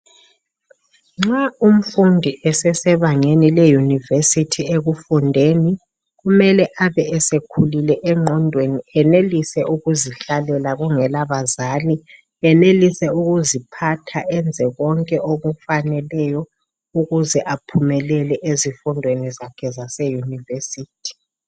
Nxa umfundi esesebangeni leYunivesithi ekufundeni kumele abe esekhulile engqondweni enelise ukuzihlalela kungela bazali, enelise ukuziphatha enze konke okufaneleyo ukuze aphumelele ezifundweni zakhe zase Yunivesithi.